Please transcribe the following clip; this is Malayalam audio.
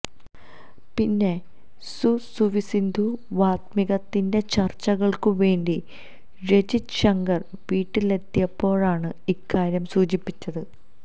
പിന്നെ സു സുവിസുധി വാത്മീകത്തിന്റെ ചര്ച്ചകൾക്കു വേണ്ടി രഞ്ജിത് ശങ്കർ വീട്ടിലെത്തിയപ്പോഴാണ് ഇക്കാര്യം സൂചിപ്പിച്ചത്